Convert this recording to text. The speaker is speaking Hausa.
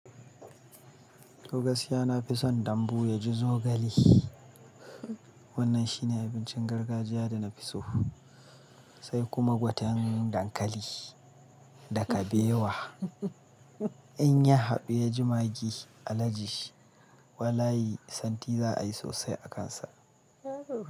To gaskiya ya na fi son dambu ya ji zogale. Wannan shine abuncin gargajiya da nafi so, sai kuma fatan dankali da kabewa in ya haɓe ya ji maggi, alaji, walayi santi za a yi sosai a kan sa.